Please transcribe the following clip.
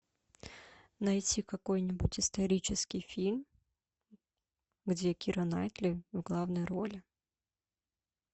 найти какой нибудь исторический фильм где кира найтли в главной роли